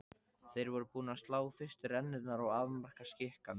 Þeir voru búnir að slá fyrstu rennurnar og afmarka skikann.